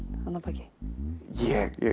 þarna að baki ég